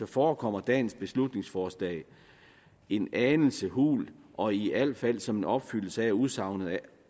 forekommer dagens beslutningsforslag en anelse hult og i al fald som en opfyldelse af udsagnet